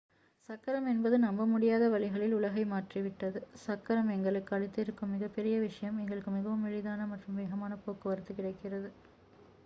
சக்கரம் என்பது நம்பமுடியாத வழிகளில் உலகை மாற்றிவிட்டது சக்கரம் எங்களுக்கு அளித்திருக்கும் மிகப்பெரிய விஷயம் எங்களுக்கு மிகவும் எளிதான மற்றும் வேகமான போக்குவரத்து கிடைக்கிறது